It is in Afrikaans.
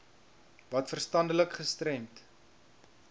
wat verstandelik gestremd